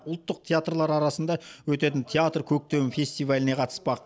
ұлттық театрлар арасында өтетін театр көктемі фестиваліне қатыспақ